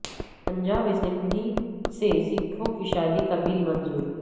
Punjab assembly سے سکھوں کی شادی کا بل منظور